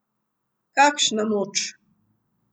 Kakšna moč!